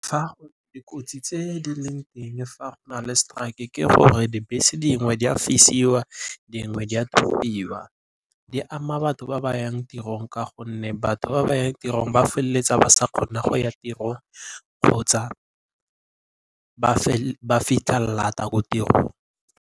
Dikotsi tse di leng teng, fa go na le seteraeke ke gore dibese dingwe di a fisiwa dingwe di a thubiwa. Di ama batho ba bayang tirong ka gonne batho ba bayang tirong ba feleletsa ba sa kgona go ya tirong kgotsa ba fitlha lata ko tirong.